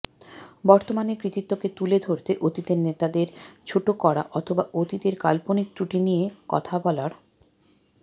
বর্তমানের কৃতিত্বকে তুলে ধরতে অতীতের নেতাদের ছোট করা অথবা অতীতের কাল্পনিক ত্রুটি নিয়ে কথা বলার